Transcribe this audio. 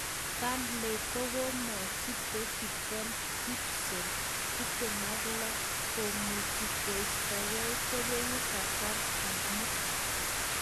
Burnley kokomwachi Beki Ben Gibson, 26, komuchi koistoke kobegu kasarta ni.